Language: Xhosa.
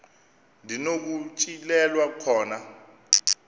ndi nokutyhilelwa khona